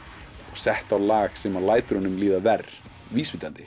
og sett á lag sem lætur honum líða verr